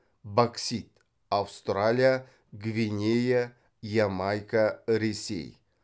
боксит аустралия гвинея ямайка ресей